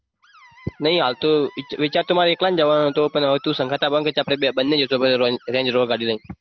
નહિ હાલ તો વિચાર તો મારે એકલાને જવાનું હતો પણ હવે તું સંગાથ આવવાનું કહે છે તો આપણે બંને જઈશું range rover ગાડી લઈને.